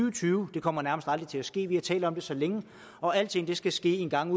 og tyve kommer nærmest aldrig til at ske vi har talt om det så længe og alting skal ske engang